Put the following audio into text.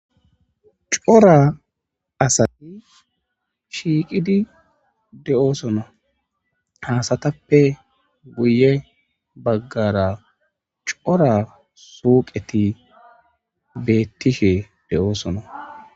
Cora asati shiiqidi de'osona ha asatappe guyye baggara cora suuqeti beetishe de'osona.